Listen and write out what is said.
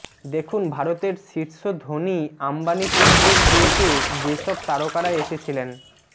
দেখুন ভারতের শীর্ষ ধনী আম্বানী পুত্রের বিয়েতে যে সব তারকারা এসেছিলেন